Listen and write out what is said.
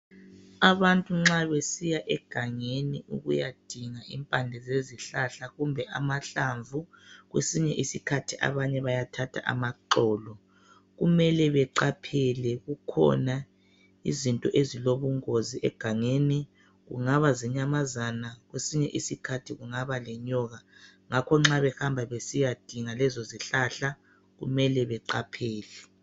Abantu nxa besiya egangeni ukuyadinga impande zezihlahla, kumbe amahlamvu kwesinye isikhathi abanye bayathatha amaxolo. Kumele beqaphele. Kukhona izinto ezilobungozi egangeni. Kungaba zinyamazana Kwesinye isikhathi kungaba le1nyoka. Ngakho nxa behamba besiyadinga kezozihlahla, kumele beqaphele.